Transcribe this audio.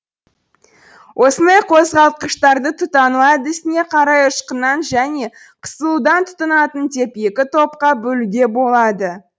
осындай қозғалтқыштарды тұтану әдісіне қарай ұшқыннан және қысылудан тұтанатын деп екі топқа бөлуге болады